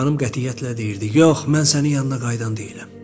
Xanım qətiyyətlə deyirdi: yox, mən sənin yanına qayıdan deyiləm.